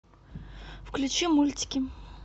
включи мультики